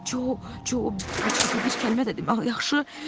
Co, Co heç kəsə bir kəlmə də demə, ha, yaxşı?